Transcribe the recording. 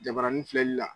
Jabarani filɛli la